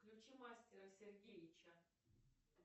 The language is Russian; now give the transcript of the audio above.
включи мастера сергеича